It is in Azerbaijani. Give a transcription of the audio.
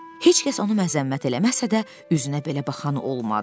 Heç kəs onu məzəmmət eləməsə də, üzünə belə baxan olmadı.